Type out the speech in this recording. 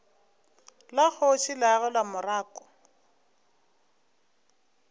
la kgoši le agelwa morako